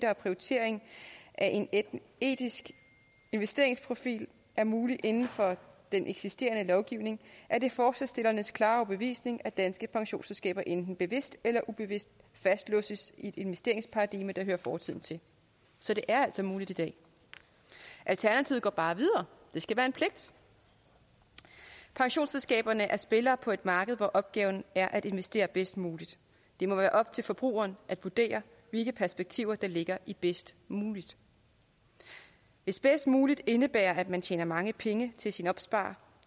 og prioritering af en etisk investeringsprofil er muligt inden for den eksisterende lovgivning er det forslagsstillernes klare overbevisning at danske pensionsselskaber enten bevidst eller ubevidst fastlåses i et investeringsparadigme der hører fortiden til så det er altså muligt i dag alternativet går bare videre det skal være en pligt pensionsselskaberne er spillere på et marked hvor opgaven er at investere bedst muligt det må være op til forbrugeren at vurdere hvilke perspektiver der ligger i bedst muligt hvis bedst muligt indebærer at man tjener mange penge til sin opsparer